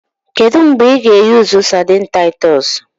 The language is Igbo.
Kedu mgbe ị ga-eyusu sadini Taitos?